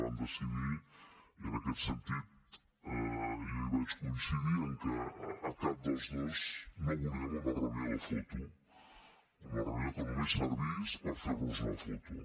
vam decidir i en aquest sentit jo hi vaig coincidir que cap dels dos no volíem una reunió de foto una reunió que només servís per fer nos una foto